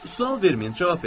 Sual verməyin, cavab verin.